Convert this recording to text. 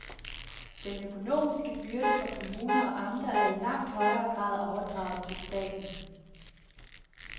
Den økonomiske byrde for kommuner og amter er i langt højere grad overdraget til staten.